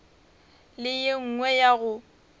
le ye nngwe ya go